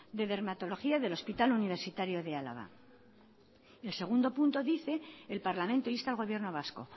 de dermatología del hospital universitario de álava el segundo punto dice el parlamento insta al gobierno vasco